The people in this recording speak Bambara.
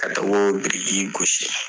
Ka taga o biriki gosi